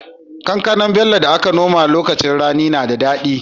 Kankanar Bello da aka nomawa a lokacin rani na da dadi